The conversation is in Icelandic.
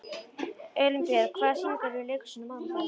Elínbjörg, hvaða sýningar eru í leikhúsinu á mánudaginn?